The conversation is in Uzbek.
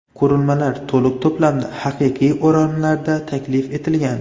Qurilmalar to‘liq to‘plamda haqiqiy o‘ramlarda taklif etilgan.